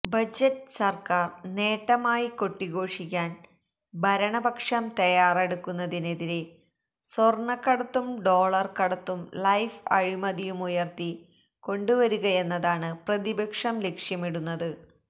budget സര്ക്കാര് നേട്ടമായി കൊട്ടിഘോഷിക്കാന് ഭരണപക്ഷം തയാറെടുക്കുന്നതിനെതിരെ സ്വര്ണക്കടത്തും ഡോളര് കടത്തും ലൈഫ് അഴിമതിയുമുയര്ത്തി കൊണ്ടുവരികയെന്നതാണ് പ്രതിപക്ഷം ലക്ഷ്യമിടുന്നത്